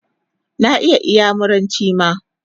Na iya iyamuranchi ma